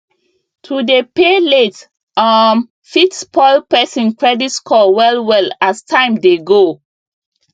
to dey pay late um fit spoil person credit score well well as time dey go